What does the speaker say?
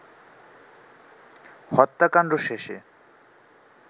হত্যাকাণ্ড শেষে